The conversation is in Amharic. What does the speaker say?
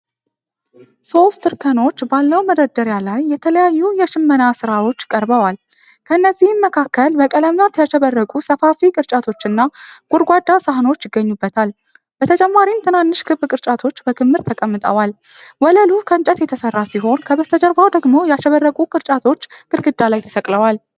ሦስት እርከኖች ባለው መደርደሪያ ላይ የተለያዩ የሽመና ሥራዎች ቀርበዋል። ከእነዚህም መካከል በቀለማት ያሸበረቁ ሰፋፊ ቅርጫቶችና ጎድጓዳ ሳህኖች ይገኙበታል። በተጨማሪም ትናንሽ ክብ ቅርጫቶች በክምር ተቀምጠዋል። ወለሉ ከእንጨት የተሠራ ሲሆን ከበስተጀርባው ደግሞ ያሸበረቁ ቅርጫቶች ግድግዳ ላይ ተሰቅለዋል።